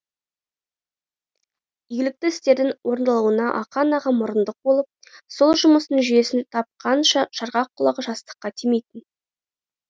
игілікті істердің орындалуына ақан аға мұрындық болып сол жұмыстың жүйесін тапқанша жарғақ құлағы жастыққа тимейтін